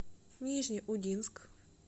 нижнеудинск